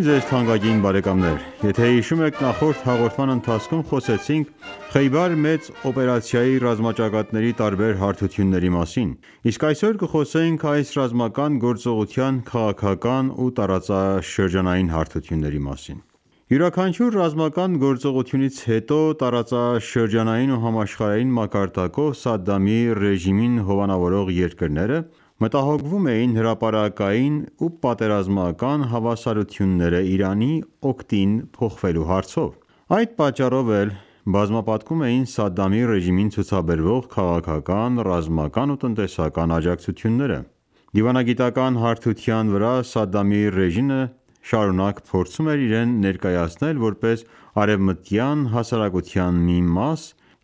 ձեզ թանկագին բարեկամներ: Եթե հիշում եք Նախորդ հաղորդման ընթացքում խոսեցինք Խեյբար մեծ օպերացիայի ռազմաճակատների տարբեր հարթությունների մասին: Իսկ այսօր կխոսենք այս ռազմական գործողության քաղաքական ու տարածաշրջանային հարթությունների մասին: Յուրաքանչյուր ռազմական գործողությունից հետո տարածաշրջանային ու համաշխարհային մակարդակով Սադդամի ռեժիմին հովանավորող երկրները մտահոգվում էին հրապարակային ու պատերազմաական հավասարությունններն Իրանի օգտին փոխվելու հարցով: Այդ պատճառով էլ բազմապատկում էին Սադդամի ռեժիմին ցուցաբերվող քաղաքական, ռազմական ու տնտեսական աջակցությունները: Դիվանագիտական հարթության վրա Սադդամի ռեժիմը շարունակ փորձում էր իրեն ներկայացնել որպես արևմտյան հասարակության մի մաս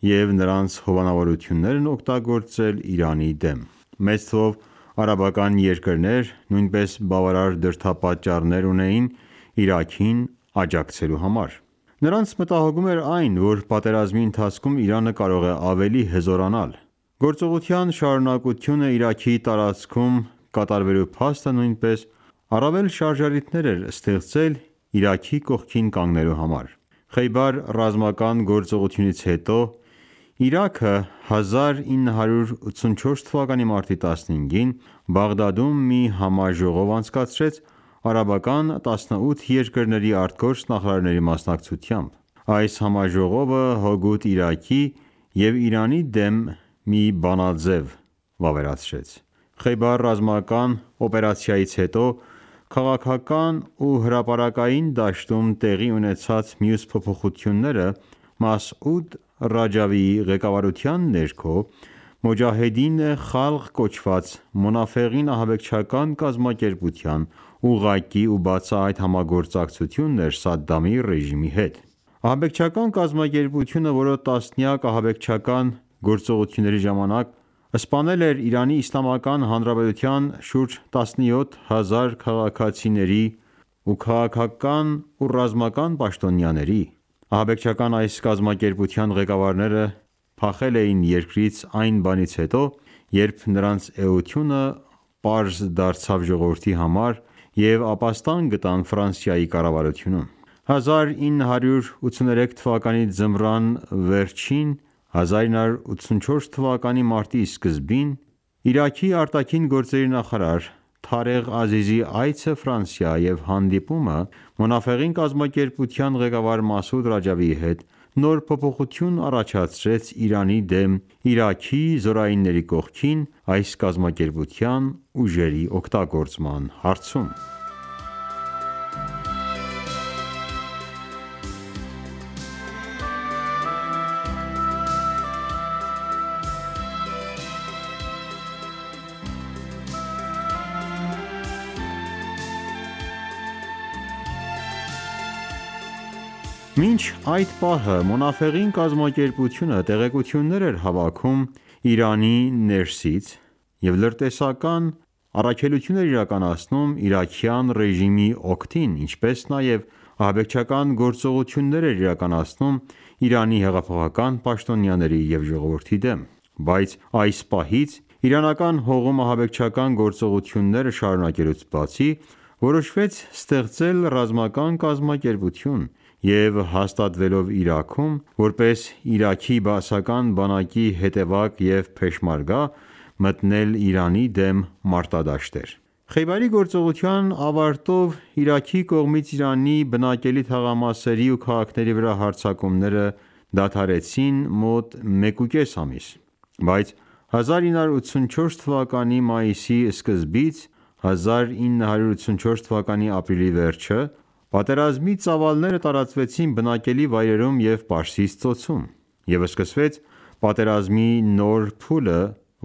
և նրանց հնարավորություններն օգտագործել Իրանի դեմ: Մեծ թվով արաբական երկրներ նույնպես բավարար դրդապատճառներ ունեին Իրաքին աջակցելու համար: Նրանց մտահոգում էր այն, որ պատերազմի ընթացքում Իրանը կարող է ավելի հզորանալ: Գործողության շարունակությունը Իրաքի տարածքում կատարվելու փաստը նույնպես առավել շարժառիթներ էր ստեղծել Իրաքի կողքին կանգնելու համար: Խեյբար ռազմական գործողությունից հետո Իրաքը 1984թ. մարտի 15-ին, Բաղդադում մի համաժողով անցկացրեց արաբական 18 երկրների ԱԳ նախարարների մասնակցությամբ: Այս համաժողովը հօգուտ Իրաքի և Իրանի դեմ մի բանաձև վավերացրեց: Խեյբար ռազմական օպերացիայից հետո քաղաքական ու հրապարակային դաշտում տեղի ունեցած մյուս փոփոխությունը Մասուդ Ռաջավիի ղեկավարության ներքո Մոջահեդին Խալղ կոչված Մոնաֆեղին ահաբեկչական կազմակերպության ուղղակի ու բացահայտ համագործակցությունն էր Սադդամի ռեժիմի հետ: Ահաբեկչական կազմակերպությունը, որը տասնյակ ահաբեկչական գործողությունների ժամանակ սպանել էր ԻԻՀ-ի շուրջ 17000 քաղաքացիների ու քաղաքական ու ռազմական պաշտոնյաների։ Ահաբեկչական այս կազմակերպության ղեկավարները փախել են երկրից այն բանից հետո, երբ նրանց էությունը պարզ դարձավ ժողովրդի համար և ապաստան գտան կառավարությունում։ 1983 թվականի ձմռան վերջին (1984 թվականի մարտի սկզբին) Իրաքի արտաքին գործերի նախարար Թարեղ Ազիզի այցը Ֆրանսիա և հանդիպումը Մոնաֆեղին կազմակերպության ղեկավար Մասուդ Ռաջավիի հետ նոր փոփոխություն առաջացրեց Իրանի դեմ, Իրաքի զորայինների կողքին այս կազմակերպության ուժերի օգտագործման հարցում: Պարտադրյալ պատերազմի թոհուբոհում Մասուդ Ռաջավիի հանդիպումը Սադդամի հետ կազմակերպությունը տեղեկություններ էր հավաքում Իրանի ներսից և լրտեսում էր իրաքյան ռեժիմի օգտին, ինչպես նաև ահաբեկչական գործողություններ էր իրականացնում Իրանի հեղափոխական պաշտոնյաների և ժողովրդի դեմ։ Բայց այս պահից, իրանական հողում ահաբեկչական գործողությունները շարունակելուց բացի, որոշվեց ստեղծել ռազմական կազմակերպություն և, հաստատվելով Իրաքում, որպես Իրաքի Բաասական բանակի հետևակ և փեշմերգա մտնել Իրանի դեմ մարտադաշտեր: Խեյբարի գործողության ավարտով Իրաքի կողմից Իրանի բնակելի թաղամասերի ու քաղաքների վրա հարձակումները դադարեցին մոտ մեկուկես ամիս։ Բայց 1984 թվականի մայիսի սկզբից (1984 թվականի ապրիլի վերջ) պատերազմի ծավալները տարածվեցին բնակելի վայրերում և Պարսից ծոցում, և սկսվեց պատերազմի նոր փուլը,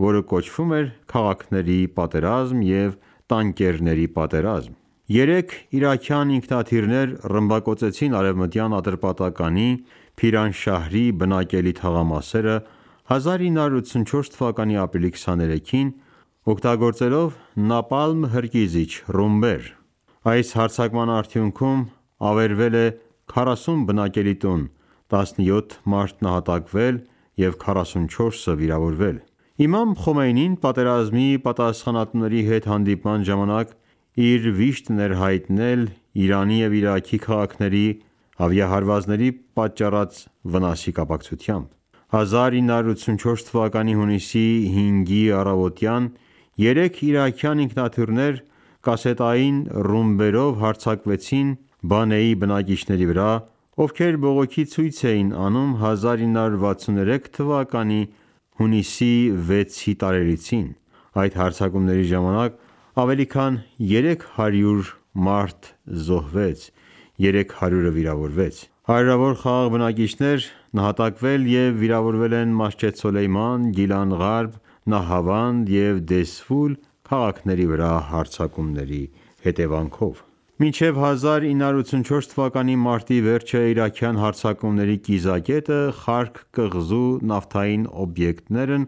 որը կոչվում էր «Քաղաքների պատերազմ» և «Տանկերների պատերազմ»: Երեք իրաքյան ինքնաթիռներ ռմբակոծեցին Արևմտյան Ատրպատականի Փիրանշահրի բնակելի թաղամասերը 1984 թվականի ապրիլի 23-ին, օգտագործելով նապալմ հրկիզիչ ռումբեր։ Այս հարձակման արդյունքում ավերվել է 40 բնակելի տուն, 17 մարդ նահատակվել է, և 44-ը վիրավորվել։ Իմամ Խոմեյնին պատերազմի պատասխանատուների հետ հանդիպման ժամանակ իր վիշտն է հայտնել Իրանի և Իրաքի քաղաքների ավիահարվածների պատճառած վնասի կապակցությամբ։ 1984 թվականի հունիսի 5-ի առավոտյան երեք իրաքյան ինքնաթիռներ կասետային ռումբերով հարձակվեցին Բանեի բնակիչների վրա, ովքեր բողոքի ցույց էին անում 1963 թվականի հունիսի 6-ի տարելիցին, այդ հարձակումների ժամանակ ավելի քան 300 մարդ զոհվեց, 300-ը վիրավորվեց։ Հարյուրավոր խաղաղ բնակիչներ նահատակվել և վիրավորվել են Մասջեդ Սոլեյման, Գիլան Ղարբ, Նահավանդ և Դեզֆուլ քաղաքների վրա հարձակումների հետևանքով։ Իրաքի Բաասական ռեժիմի կողմից իրանական քաղաքների ռմբակոծությունները Մինչև 1984 թվականի մարտի վերջը իրաքյան հարձակումների կիզակետը Խարկ կղզու նավթային օբյեկտներն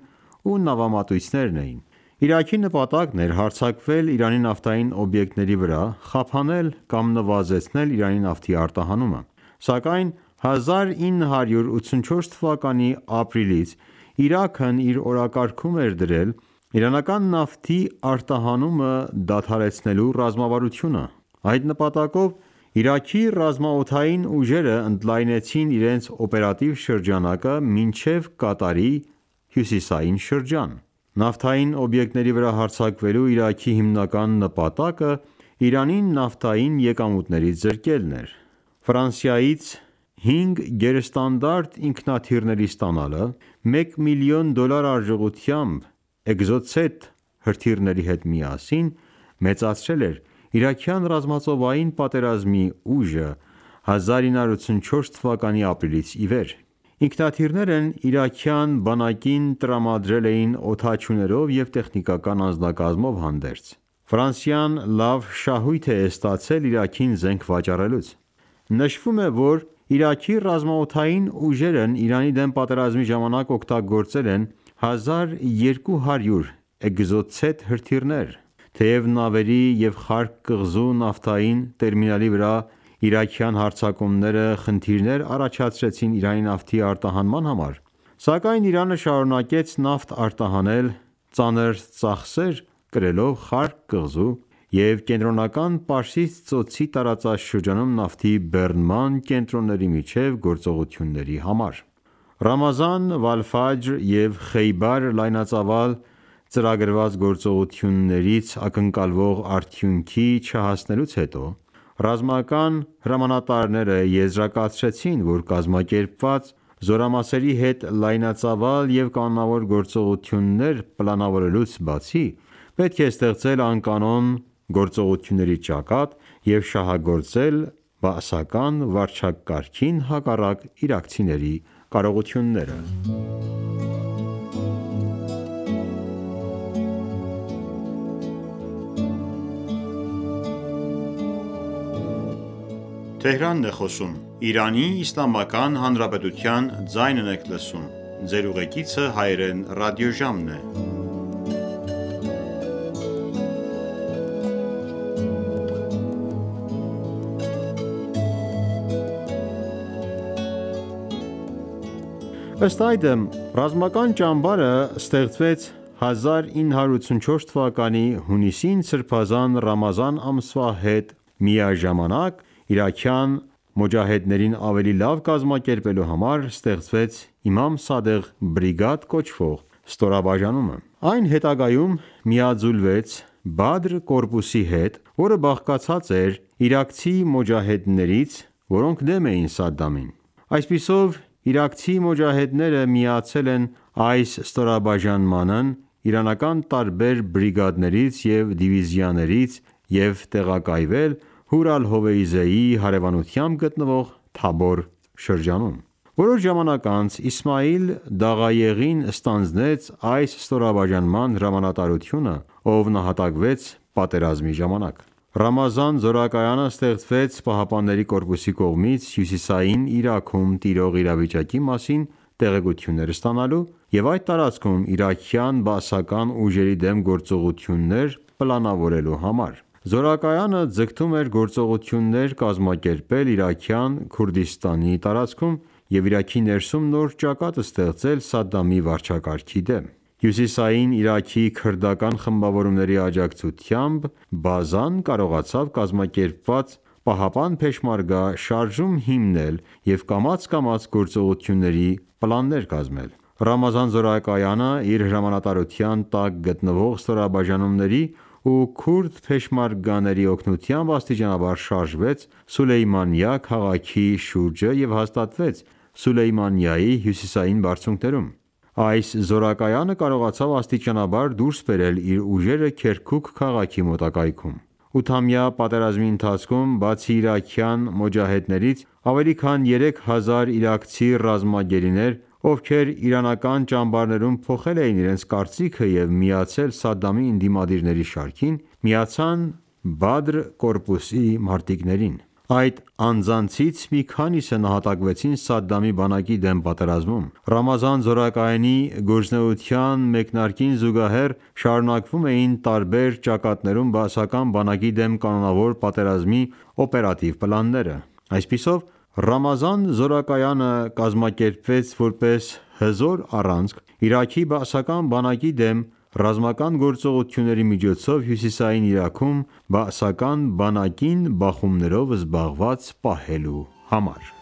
ու նավամատույցներն էին։ Իրաքի նպատակն էր հարձակվել Իրանի նավթային օբյեկտների վրա՝ խափանել կամ նվազեցնել Իրանի նավթի արտահանումը: Սակայն 1984 թվականի ապրիլից Իրաքն իր օրակարգում էր դրել իրանական նավթի արտահանումը դադարեցնելու ռազմավարությունը։ Այդ նպատակով Իրաքի ռազմաօդային ուժերը ընդլայնցին իրենց օպերատիվ շրջանակը մինչև Կատարի հյուսիսային շրջան: Նավթային օբյեկտների վրա հարձակվելու Իրաքի հիմնական նպատակը Իրանին նավթային եկամուտներից զրկելն էր։ հինգ գերստանդարտ ինքնաթիռների ստանալը, 1 միլիոն դոլար արժողությամբ էկզոցետ հրթիռների հետ միասին, մեծացրել է իրաքյան ռազմածովային պատերազմի ուժը՝ 1984 թվականի ապրիլից ի վեր։ Ինքնաթիռներն իրաքյան բանակին տրամադրել էին օդաչուներով և տեխնիկական անձնակազմով հանդերձ։ Ֆրանսիան լավ շահույթ է ստացել Իրաքին զենք վաճառելուց: Նշվում է, որ Իրաքի ռազմաօդային ուժերն Իրանի դեմ պատերազմի ժամանակ օգտագործել են 1200 էկզոցետ հրթիռներ: Թեև նավերի և Խարկ կղզու նավթային տերմինալի վրա իրաքյան հարձակումները խնդիրներ առաջացրեցին Իրանի նավթի արտահանման համար, սակայն Իրանը շարունակեց նավթ արտահանել՝ ծանր ծախսեր կրելով Խարկ կղզու և Կենտրոնական Պարսից ծոցի տարածաշրջանում նավթի բեռնման կենտրոնների միջև գործողությունների համար: Ռամազան, և Խեյբար լայնածավալ ծրագրված գործողություններից ակնկալվող արդյունքի չհասնելուց հետո, ռազմական հրամանատարները եզրակացրեցին, որ կազմակերպված զորամասերի հետ լայնածավալ և կանոնավոր գործողություններ պլանավորելուց բացի, պետք է ստեղծել անկանոն գործողությունների ճակատ և շահագործել Բաասական վարչակարգին հակառակ իրաքցիների կարողությունները: Ըստ այդմ, Ռամազան ճամբարը ստեղծվեց 1984 թվականի հունիսին՝ սրբազան Ռամազան ամսվա հետ միաժամանակ իրաքյան մոջահեդներին ավելի լավ կազմակերպելու համար ստեղծվեց Իմամ Սադեղ բրիգադ կոչվող ստորաբաժանումը։ Այն հետագայում միաձուլվեց Բադր կորպուսի հետ, որը բաղկացած էր իրաքցի մոջահեդներից, որոնք դեմ էին Սադամին: Այսպիսով, իրաքցի մոջահեդները միացել են այս ստորաբաժանմանն իրանական տարբեր բրիգադներից և դիվիզիաներից և տեղակայվել Հոր Ալ-Հովեյզեի հարևանությամբ գտնվող Թաբոր շրջանում։ Որոշ ժամանակ անց Իսմայիլ Դաղայեղին ստանձնեց այս ստորաբաժանման հրամանատարությունը, ով նահատակվեց պատերազմի ժամանակ: Բադր կորպուսի հրամանատար նահատակ Իսմայիլ Դաղայեղին Ռամազան զորակայանը ստեղծվեց ԻՀՊԿ-ի կողմից՝ Հյուսիսային Իրաքում տիրող իրավիճակի մասին տեղեկություններ ստանալու և այդ տարածքում իրաքյան բաասական ուժերի դեմ գործողություններ պլանավորելու համար: Զորակայանը ձգտում էր գործողություններ կազմակերպել Իրաքյան Քուրդիստանի տարածքում և Իրաքի ներսում նոր ճակատ ստեղծել Սադամի վարչակարգի դեմ։ Հյուսիսային Իրաքի քրդական խմբավորումների աջակցությամբ բազան կարողացավ կազմակերպված պահապան-Փեշմերգա շարժում հիմնել և կամաց-կամաց գործողությունների պլաններ կազմել: Ռամազան զորակայանը իր հրամանատարության տակ գտնվող ստորաբաժանումների ու քուրդ փեշմերգաների օգնությամբ աստիճանաբար շարժվեց Սուլեյմանիա քաղաքի շուրջը և հաստատվեց Սուլեյմանիայի հյուսիսային բարձունքներում։ Այս զորակայանը կարողացավ աստիճանաբար դուրս բերել իր ուժերը Քերքուկ քաղաքի մոտակայքում։ Ութամյա պատերազմի ընթացքում, բացի իրաքյան մոջահեդներից, ավելի քան 3000 իրաքցի ռազմագերիներ, ովքեր իրանական ճամբարներում փոխել էին իրենց կարծիքը և միացել Սադամի ընդդիմադիրների շարքին, միացան Բադրի կորպուսին մարտիկներին: Այդ անձանցից մի քանիսը նահատակվեցին Սադամի բանակի դեմ պատերազմում։ Ռամազան զորակայանի գործունեության մեկնարկին զուգահեռ շարունակվում էին տարբեր ճակատներում բաասական բանակի դեմ կանոնավոր պատերազմի օպերատիվ պլանները: Այսպիսով, Ռամազանի զորակայանը կազմակերպվեց որպես հզոր առանցք Իրաքի բաասական բանակի դեմ՝ ռազմական գործողությունների միջոցով Հյուսիսային Իրաքում բաասական բանակին բախումներով զբաղված պահելու համար: